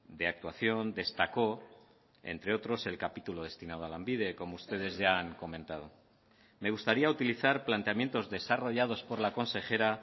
de actuación destacó entre otros el capítulo destinado a lanbide como ustedes ya han comentado me gustaría utilizar planteamientos desarrollados por la consejera